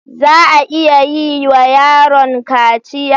Za a iya yi wa yaron kaciya?